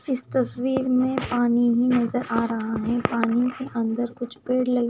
इस तस्वीर में पानी भी नजर आ रहा है पानी के अंदर कुछ पेड़ लगे--